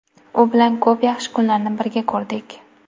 U bilan ko‘p yaxshi kunlarni birga ko‘rdik.